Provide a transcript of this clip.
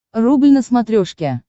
рубль на смотрешке